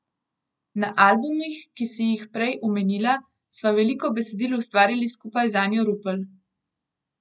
Na albumih, ki si jih prej omenila, sva veliko besedil ustvarili skupaj z Anjo Rupel.